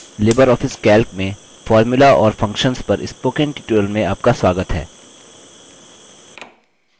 Libre office calc में formula और functions पर spoken tutorial में आपका स्वगात है